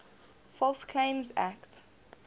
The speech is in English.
false claims act